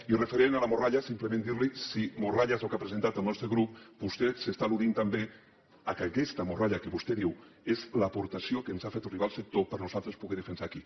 i referent a la morralla simplement dir li si morralla és el que ha presentat el nostre grup vostè està al·ludint també que aquesta morralla que vostè diu és l’aportació que ens ha fet arribar el sector perquè nosaltres la puguem defensar aquí